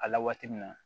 A la waati min na